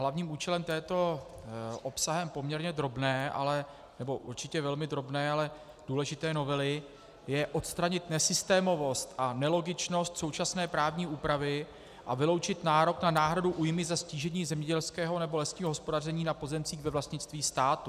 Hlavním účelem této obsahem poměrně drobné, nebo určitě velmi drobné, ale důležité novely je odstranit nesystémovost a nelogičnost současné právní úpravy a vyloučit nárok na náhradu újmy za ztížení zemědělského nebo lesního hospodaření na pozemcích ve vlastnictví státu.